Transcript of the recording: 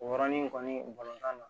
O yɔrɔnin kɔni na